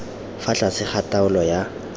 fa tlase ga taolo ya